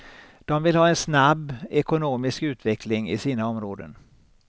De vill ha en snabb ekonomisk utveckling i sina områden.